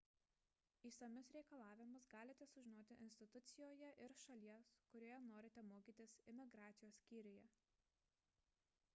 išsamius reikalavimus galite sužinoti institucijoje ir šalies kurioje norite mokytis imigracijos skyriuje